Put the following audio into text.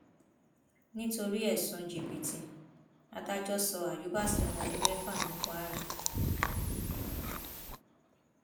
nítorí ẹsùn jìbìtì adájọ sọ àyùbá sẹwọn ọdún mẹfà ní kwara